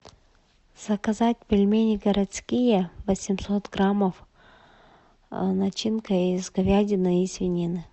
заказать пельмени городские восемьсот граммов начинка из говядины и свинины